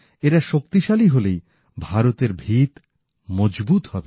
এঁরা শক্তিশালী হলে ভারতের ভীত মজবুত হবে